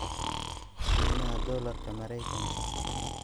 qiimaha dollarka Maraykanka